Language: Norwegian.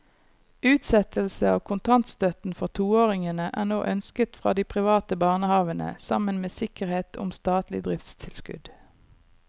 Utsettelse av kontantstøtten for toåringene er nå ønsket fra de private barnehavene sammen med sikkerhet om statlig driftstilskudd.